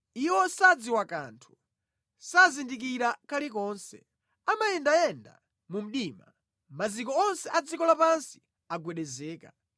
“Iwo sadziwa kanthu, sazindikira kalikonse. Amayendayenda mu mdima; maziko onse a dziko lapansi agwedezeka.